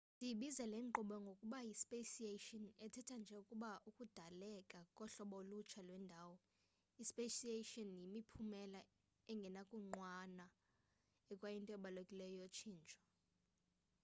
siyibiza lenkqubo ngokuba yi speciation ethetha nje ukuba ukudaleka kohlobo ulutsha lwendalo . ispeciation yimiphumela engenakunqanwa ekwayinto ebalulekileyo yotshintsho